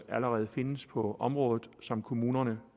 allerede findes på området og som kommunerne